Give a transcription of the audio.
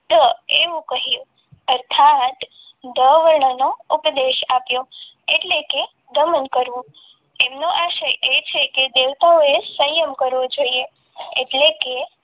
તો એવું કહ્યું અર્થાત ઢ વર્ણનો ઉપદેશ આપ્યો એટલે કે દમન કરવું તેમનો આશરે છે કે દેવતાઓએ સંયમ કરવો જોઈએ એટલે કે